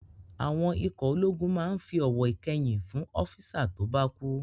Àwọn ikọ̀ ológun máa n fi ọ̀wọ̀ ìkẹyìn fún ọ́físà tó bá kú